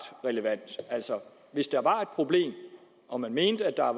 relevant hvis der var et problem og man mente at der var